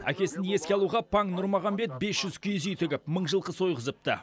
әкесін еске алуға паң нұрмағамбет бес жүз киіз үй тігіп мың жылқы сойғызыпты